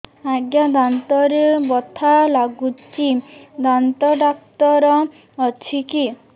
ଆଜ୍ଞା ଦାନ୍ତରେ ବଥା ଲାଗୁଚି ଦାନ୍ତ ଡାକ୍ତର ଅଛି କି